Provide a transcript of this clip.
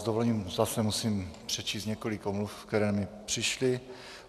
S dovolením zase musím přečíst několik omluv, které mi přišly.